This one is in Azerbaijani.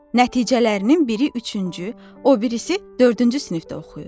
Nəticələrinin biri üçüncü, o birisi dördüncü sinifdə oxuyur.